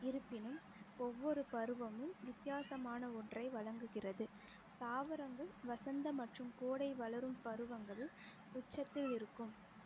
இருப்பினும் ஒவ்வொரு பருவமும் வித்தியாசமான ஒன்றை வழங்குகிறது தாவரங்கள் வசந்த மற்றும் கோடை வளரும் பருவங்களுள் உச்சத்திலிருக்கும்